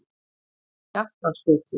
Kjartansgötu